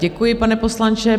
Děkuji, pane poslanče.